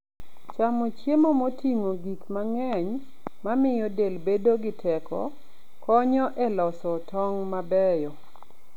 Chamo chiemo moting'o gik mang'eny mamiyo del bedo gi teko, konyo e loso tong' mabeyo.